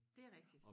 Dét rigtigt